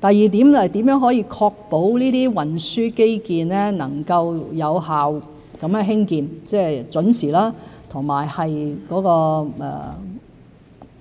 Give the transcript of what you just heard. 第二點，如何可以確保這些運輸基建能夠有效地興建，即是準時和